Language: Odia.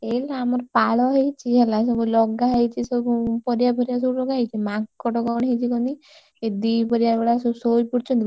ଏଇ ଗୋଟେ ଆମର ପାଳ ହେଇଛି ହେଲା। ସବୁ ଲଗା ହେଇଛି ସବୁ ପରିବା ଫରିବା ସବୁ ଲଗାହେଇଛି ମାଙ୍କଡ କଣ ହେଇଛି କହନୀ, ଏ ଦିପହରିଆ ବେଳା ସବୁ ଶୋଇପଡ଼ୁଛନ୍ତିତ,